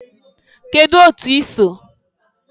Kedụ otu i so?